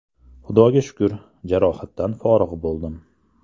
Xudoga shukr, jarohatdan forig‘ bo‘ldim.